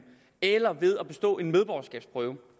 eller ved at bestå en medborgerskabsprøve